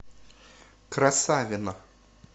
красавино